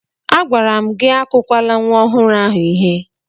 Agwara m gị akụkwala nwa ọhụrụ ahụ ihe!